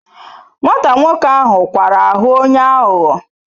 Nwata nwoke ahu kwara ahu onye aghugho